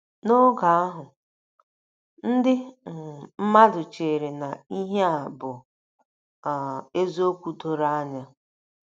N’oge ahụ, ndị um mmadụ chere na ihe a bụ um eziokwu doro anya.